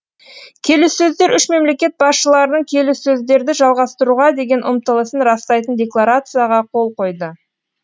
келіссөздер үш мемлекет басшыларының келіссөздерді жалғастыруға деген ұмтылысын растайтын декларацияға қол қойды